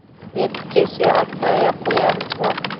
реті келсе айтпай ақ қоямыз ба